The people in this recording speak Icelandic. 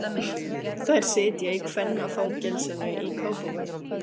Þær sitja í kvennafangelsinu í Kópavogi.